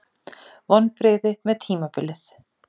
Vonbrigði með tímabilið